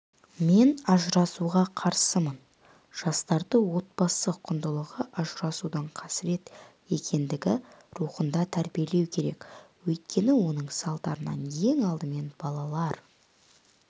мен ажырасуға қарсымын жастарды отбасы құндылығы ажырасудың қасірет екендігі рухында тәрбиелеу керек өйткені оның салдарынан ең алдымен балалар